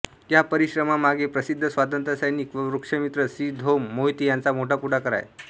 या परिश्रमांमागे प्रसिद्ध स्वातंत्र्यसैनिक व वृक्षमित्र श्री धो म मोहिते यांचा मोठा पुढाकार आहे